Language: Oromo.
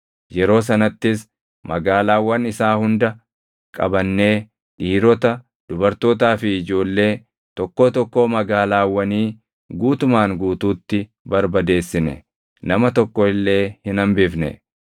Yeroo sanattis magaalaawwan isaa hunda qabannee dhiirota, dubartootaa fi ijoollee, tokkoo tokkoo magaalaawwanii guutumaan guutuutti barbadeessine. Nama tokko illee hin hambifne.